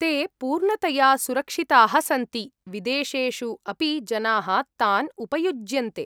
ते पूर्णतया सुरक्षिताः सन्ति, विदेशेषु अपि जनाः तान् उपयुज्यन्ते।